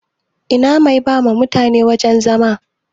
Ina mai bawa mutane wajan zama?